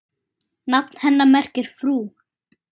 Nafn hennar merkir frú.